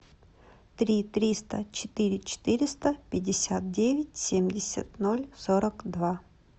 три триста четыре четыреста пятьдесят девять семьдесят ноль сорок два